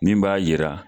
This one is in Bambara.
Min b'a yira